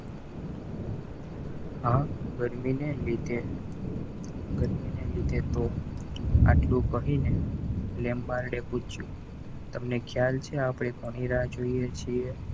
આ ગરમીને લીધ ગરમીને લીધે તો આટલું કહીને લેંબાડે પૂછ્યું તમને ખ્યાલ છે આપણે કોની રાહ જોઈએ છીએ?